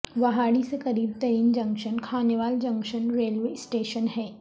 وہاڑی سے قریب ترین junction Khanewal junction railway station ہے